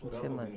por semana.